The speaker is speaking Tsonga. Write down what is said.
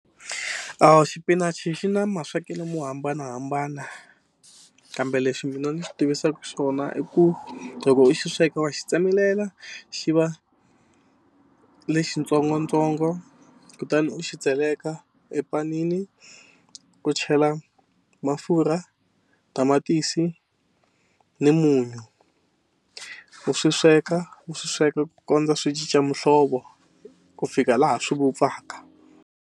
Xipinachi xi na maswekelo mo hambanahambana kambe lexi mina ni xi tivisaka xona i ku loko u xi sweka wa xi tsemelela xi va lexitsongotsongo kutani u xi tseleka epanini ku chela mafurha tamatisi ni munyu u swi sweka u swi sweka ku kondza swi cinca muhlovo ku fika laha swi vupfaka.